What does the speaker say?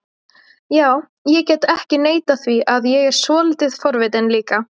Já, ég get ekki neitað því að ég er svolítið forvitinn líka